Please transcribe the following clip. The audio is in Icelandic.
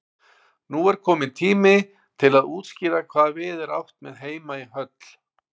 Nú er kominn tími til að útskýra hvað við er átt með heima í höll.